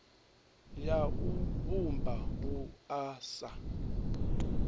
ya u vhumba wua sa